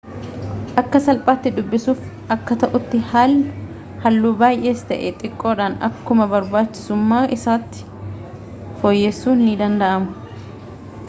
akka salphaatti dubbisuuf akka ta'utti halluu baay'ees ta'e xiqqoodhaan akkuma barbaachisummaa isaatti fooyyessuun ni danda'ama